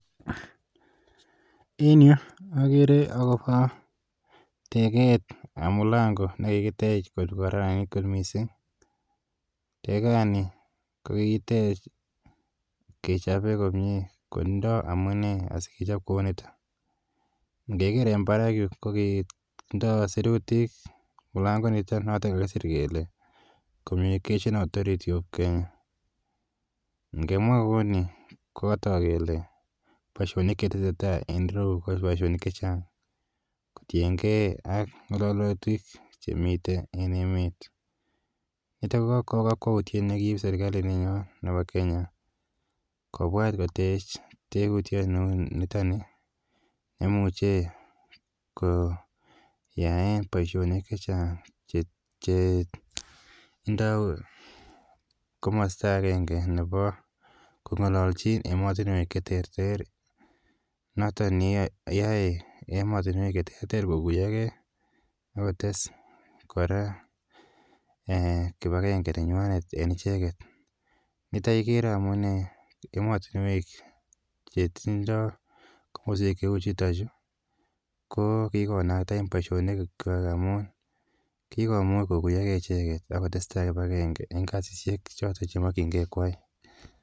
En yu akere akopa tekeet ap mlango ne kikitech ko kararanit kot missing'. Tekaani ko kikitech ke chope komye kotindai amune asikechop kou nitok. Ngeker en parak yu ko kitindai sirutik mlangoiniton notok kakisir kele "communication authority of Kenya". Ngemwab kou ni ko katak kele poishonik che tese tai en rou ko poishonik che chang' kotien gei ng'alalutik che miten emet. Nitok ko kakwautiet ne kiip serkalininyon nepo Kenya kopwat kotech tekutiet neu nitani ne imuche koyaen poishonik che chang' che ndai komasta agenge nepo kong'alalchin ematunwek che terchin. Notok keyae ematunwek che terter koguyagei ak kotes kora kip agenge nenywanet en icheget. Nitok ikere amunee ematunwek che tindai komaswek cheu chutachu ko kiko onaten poishonik amun kikomuch koguyagei icheget ak kotestai kip agenge eng' kasishek chotok che makchinge koyai.